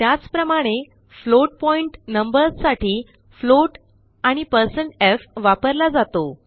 त्याप्रमाणे float point numbers साठी float आणि160f वापरला जातो